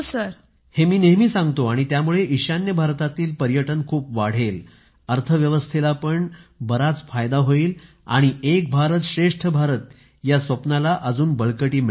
हे मी नेहमी सांगतो आणि त्यामुळे ईशान्य भारतातील पर्यटन खूप वाढेल अर्थव्यवस्थेला पण बराच फायदा होईल आणि एक भारत श्रेष्ठ भारत या स्वप्नाला अजून बळकटी मिळेल